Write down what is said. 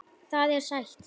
Það er sætt.